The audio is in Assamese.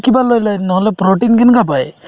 কিবা লৈ লই নহলে protein কেনেকা পাই